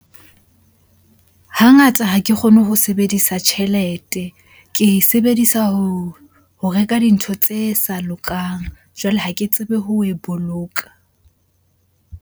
Hangata ha ke kgone ho sebedisa tjhelete. Ke e sebedisa ho ho reka dintho tse sa lokang. Jwale ha ke tsebe ho e boloka.